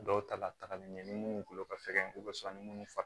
Dɔw ta latagali ɲɛ ni munnu kolo ka fɛgɛn ko bɛ sɔrɔ ni minnu faga